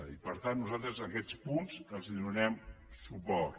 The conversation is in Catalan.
i per tant nosaltres a aquests punts els donarem suport